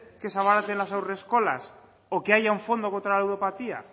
que se abaraten las haurreskolas o que haya un fondo contra la ludopatía